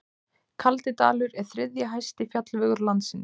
Kaldidalur er þriðji hæsti fjallvegur landsins.